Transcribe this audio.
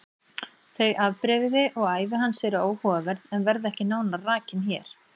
Þau afbrigði og ævi hans eru áhugaverð en verða ekki nánar rakin hér.